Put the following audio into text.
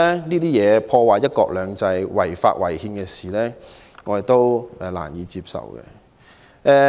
這些破壞"一國兩制"、違法違憲的事情，我們都難以接受。